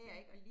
Mh